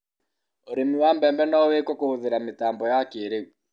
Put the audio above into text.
urīmi wa mbembe no wīīkuo kūhūthīra mītambo ya kīīrīu